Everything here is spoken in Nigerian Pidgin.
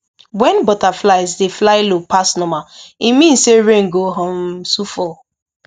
when butterflies dey fly low pass normal e mean say rain go um soon fall